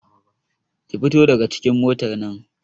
Ki fito daga cikin motar nan!